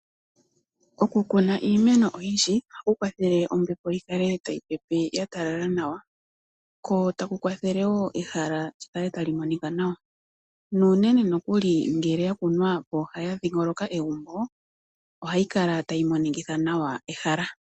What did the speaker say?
Okukuna iimeno oyindji ohaku kwathele ombepo yi kale tayi pepe ya talala nawa, ko taku kwathele wo ehala li kale tali monika nawa nuunene nokuli ngele ya kunwa pooha ya dhingoloka egumbo, ohayi kala tayi monikitha nawa ehala.